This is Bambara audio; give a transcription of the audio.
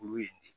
Olu ye nin